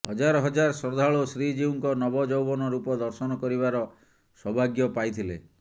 ହଜାର ହଜାର ଶ୍ରଦ୍ଧାଳୁ ଶ୍ରୀଜିଉଙ୍କ ନବଯୌବନ ରୂପ ଦର୍ଶନ କରିବାର ସୌଭାଗ୍ୟ ପାଇଥିଲେ